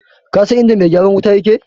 Kasan inda mai gyaran wuta yake?